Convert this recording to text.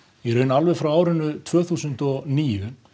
alveg frá árinu tvö þúsund og níu